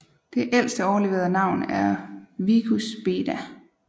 Det ældste overleverede navn er Vicus Beda